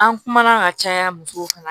An kumana ka caya musow kan